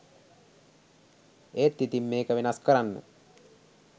ඒත් ඉතිං මේක වෙනස් කරන්න